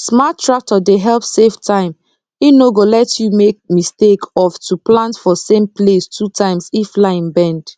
smart tractor dey help save time e no go let you make mistake of to plant for same place two times if line bend